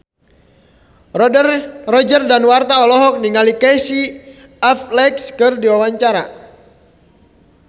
Roger Danuarta olohok ningali Casey Affleck keur diwawancara